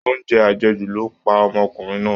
Oúnjẹ àjẹjù ló pa ọmọkùnrin náà